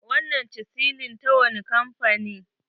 Wannan chisilin ta wani kamfani?